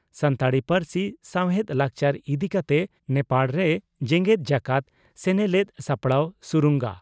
ᱥᱟᱱᱛᱟᱲᱤ ᱯᱟᱹᱨᱥᱤ ᱥᱟᱶᱦᱮᱫ ᱞᱟᱠᱪᱟᱨ ᱤᱫᱤ ᱠᱟᱛᱮ ᱱᱮᱯᱟᱲ ᱨᱮ ᱡᱮᱜᱮᱛ ᱡᱟᱠᱟᱛ ᱥᱮᱱᱮᱞᱮᱫ ᱥᱟᱯᱲᱟᱣ ᱥᱩᱨᱩᱝᱜᱟ